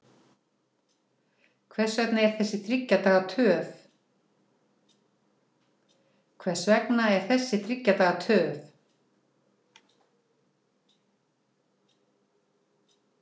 Hvers vegna er þessi þriggja daga töf?